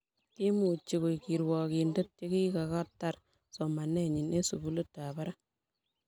kimuchini koek kirwokinde yekakotar somanenyin eng sukulitab barak